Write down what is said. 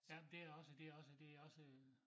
Jamen det også det også det også øh